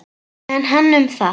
En hann um það.